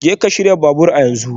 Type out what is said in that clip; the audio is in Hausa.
Jeka shirya babur a yanzu